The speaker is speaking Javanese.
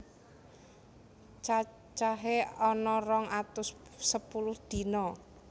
Cacahé ana rong atus sepuluh dina